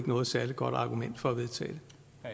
noget særlig godt argument for at vedtage